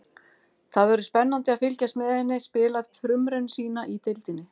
Það verður spennandi að fylgjast með henni spila frumraun sína í deildinni.